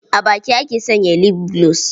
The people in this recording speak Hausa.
A baki ake sanya lif gulos.